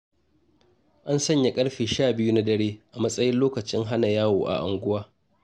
An sanya ƙarfe 12 na dare a matsayin lokacin hana yawo a unguwa.